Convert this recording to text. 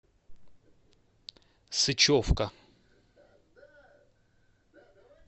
сычевка